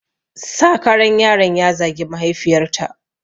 Sakaran yaron ya zagi mahaifiyarta